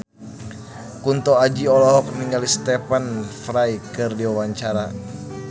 Kunto Aji olohok ningali Stephen Fry keur diwawancara